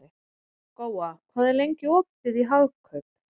Góa, hvað er lengi opið í Hagkaup?